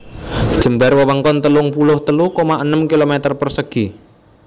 Jembar wewengkon telung puluh telu koma enem km persegi